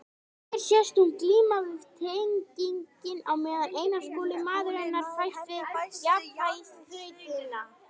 Hér sést hún glíma við teninginn á meðan Einar Skúli, maður hennar, fæst við jafnvægisþrautina.